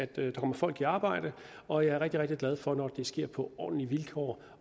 der kommer folk i arbejde og jeg er rigtig rigtig glad for når det sker på ordentlige vilkår